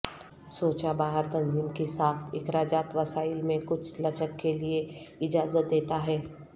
سوچا باہر تنظیم کی ساخت اخراجات وسائل میں کچھ لچک کے لئے اجازت دیتا ہے